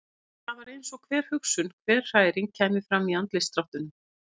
Það var eins og hver hugsun, hver hræring kæmi fram í andlitsdráttunum.